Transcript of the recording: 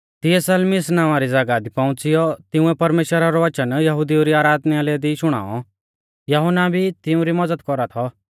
तिऐ सलमीस नावां री ज़ागाह दी पौउंच़िऔ तिंउऐ परमेश्‍वरा रौ वचन यहुदिऊ री आराधनालय दी शुणाऔ यहुन्ना भी तिउंरी मज़द कौरा थौ